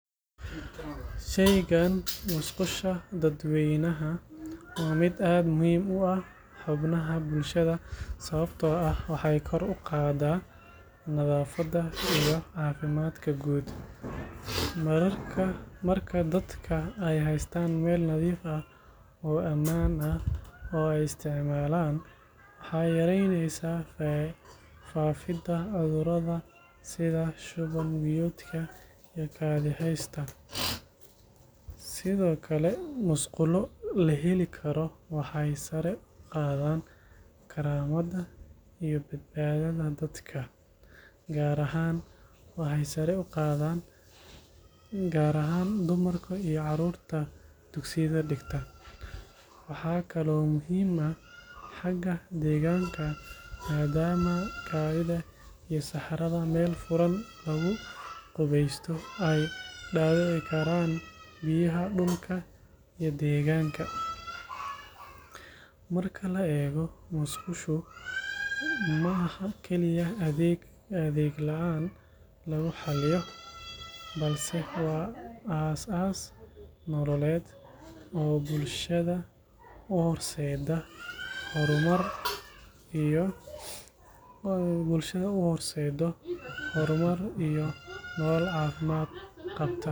Shaygan – musqusha dadweynaha – waa mid aad muhiim ugu ah xubnaha bulshada sababtoo ah waxay kor u qaaddaa nadaafadda iyo caafimaadka guud. Marka dadka ay haystaan meel nadiif ah oo ammaan ah oo ay isticmaalaan, waxay yareyneysaa faafidda cudurrada sida shuban-biyoodka iyo kaadi-heysta. Sidoo kale, musqulo la heli karo waxay sare u qaadaan karaamada iyo badbaadada dadka, gaar ahaan dumarka iyo carruurta dugsiyada dhigta. Waxaa kaloo muhiim ah xagga deegaanka, maadaama kaadida iyo saxarada meel furan lagu qubaysto ay dhaawici karaan biyaha dhulka iyo deegaanka. Marka la eego, musqushu ma aha kaliya adeeg la'aan lagu xalliyo, balse waa aasaas nololeed oo bulshada u horseeda horumar iyo nolol caafimaad qabta.